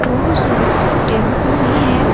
बहुत सारे टेंपू भी है।